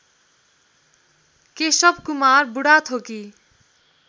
Keshav Kumar Budhathoki